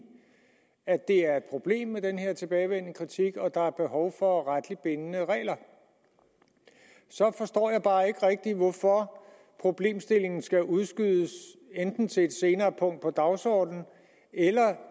at det er et problem med den her tilbagevendende kritik og at der er behov for retligt bindende regler så forstår jeg bare ikke rigtigt hvorfor problemstillingen skal udskydes enten til et senere punkt på dagsordenen eller